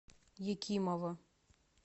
екимова